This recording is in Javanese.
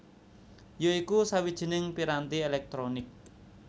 ya iku sawijining piranti elektronik